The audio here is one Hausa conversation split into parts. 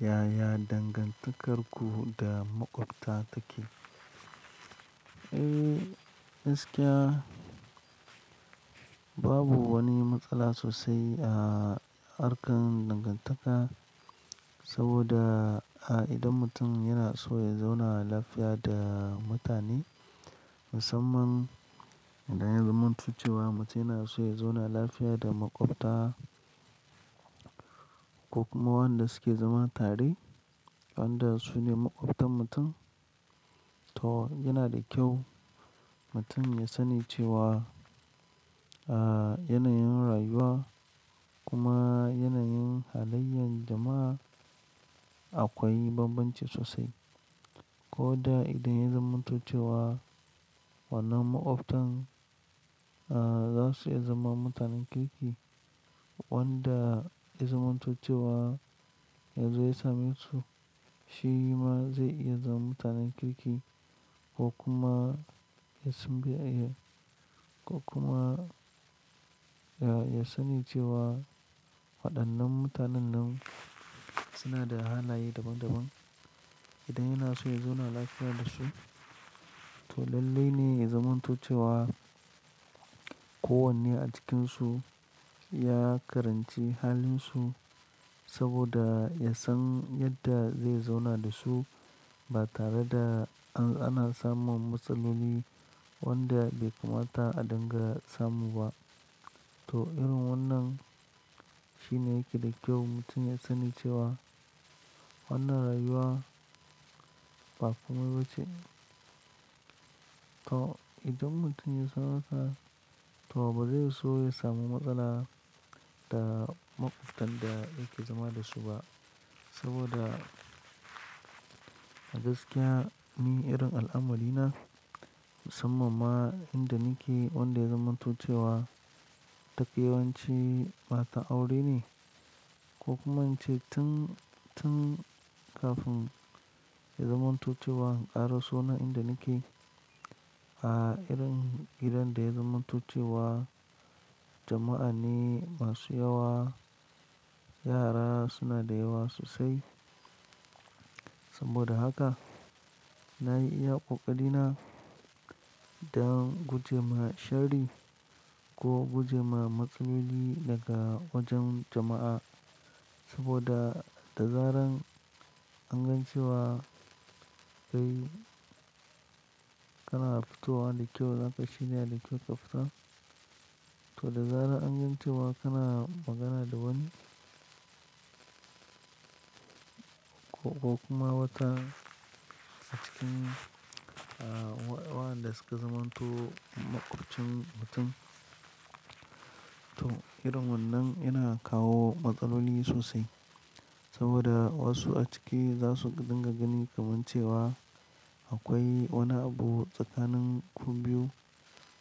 Yaya dangantakarku da maƙwabta take? Eh, gaskiya babu wani matsala sosai a harkar dangantaka. Saboda a idon mutum yana so ya zauna lafiya da mutane, musamman idan ya zamanta cewa mutum yana so ya zauna lafiya da maƙwabta, ko kuma waɗanda suke zama tare, wanda su ne maƙwabtan mutum. To, yana da kyau mutum ya sani cewa a yanayin rayuwa, kuma yanayin halayen jama'a, akwai bambanci sosai. Ko da idan ya zamanta cewa, wannan maƙwabtan, za su iya zama mutanen kirki. Wanda ya zamanta cewa yazo ya same su, shi ma zai iya zama mutanen kirki ko kuma ya ko kuma ya, ya sani cewa waɗannan mutanen nan suna da halaye daban-daban. Idan yana so ya zauna lafiya da su, to lallai ne ya zamanta cewa, kowanne a cikinsu ya karanci halinsu saboda ya san yadda zai zauna da su. Ba tare da an, ana samun matsaloli wanda bai kamata a dinga samu ba. To, irin wannan shine yake da kyau mutum ya sani cewa, wannan rayuwa ba komai ba ce. To, idan mutum ya san haka, to ba zai so ya samu matsala da maƙwabtan da yake zama da su ba. Saboda gaskiya ni irin al'amari na musamman ma inda nake wanda ya zamanta cewa, ta kewance ba ta aure ne. Ko kuma in ce tun, tun kafin ya zamanta cewa in ka rasu nan inda nake. A irin gidan da ya zamanta cewa, jama'a ni masu yawa, yara suna da yawa sosai. Saboda haka na yi iya ƙoƙarina don guje ma shari, ko guje ma matsaloli daga wajen jama'a. Saboda da zarar an gan cewa kai kana fitowa da kyau, zaka shirya da kyau ƙa fita. To, da zarar an gan cewa kana magana da wani ko, ko kuma wata a cikin waɗanda suka zamanto maƙwabcin mutum. To, irin wannan yana kawo matsaloli sosai, saboda wasu a ciki za su dinga gani kaman cewa akwai wani abu tsakanin ku biyu.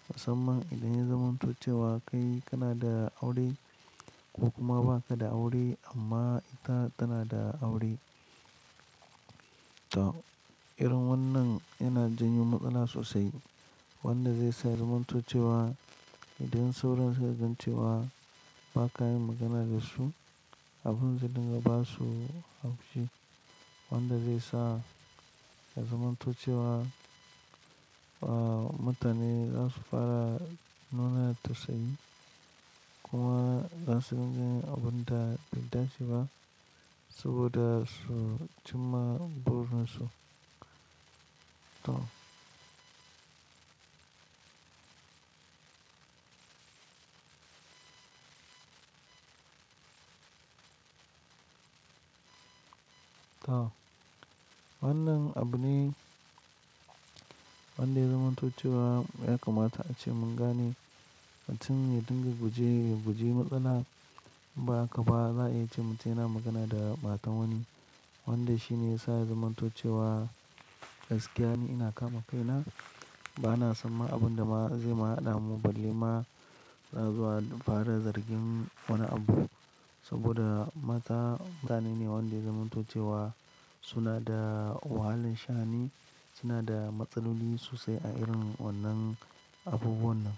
Musamman idan ya zamanta cewa kai kana da aure, ko kuma ba ka da aure amma ita tana da aure. To, irin wannan yana janyo matsala sosai. Wanda zai sa ya zamanto cewa, idan sauran su ka gan cewa ba ka yin magana da su, abun zai dinga basu haushi. Wanda zai sa ya zamanta cewa mutane za su fara nuna tausayi, kuma za su dinga yi abun da bai dace ba, saboda su cimma burinsu. To. To, wannan abune wanda ya zamanto cewa ya kamata a ce mun gane mutum ya dinga guje, guje matsala. In ba haka ba, za a iya ce mutum yana magana da matan wani, wanda shine ya sa ya zamanta cewa. Gaskiya ni ina kama kaina, ba na san ma abin da ma zai ma ɗamu balle ma, za zuwa fara zargin wani abu. Saboda mata mutane ne wanda ya zamanta cewa suna da wahalin shani, suna da matsaloli sosai a irin wannan abubuwan nan.